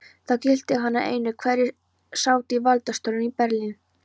Það gilti hann einu, hverjir sátu í valdastólum í Berlín.